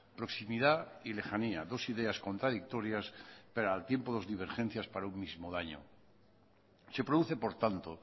proximidad y lejanía dos ideas contradictorias pero al tiempo dos divergencias para un mismo daño se produce por tanto